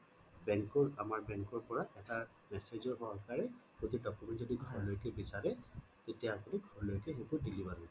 bank ৰ আমাৰ bank ৰ পৰা message ৰ সহকাৰে সঠিক documents ঘৰলৈকে বিচাৰে তেতিয়া আপুনি ঘৰলৈ সেই বোৰ deliver হৈ যাব